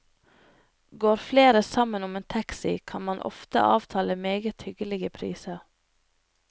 Går flere sammen om en taxi, kan man ofte avtale meget hyggelige priser.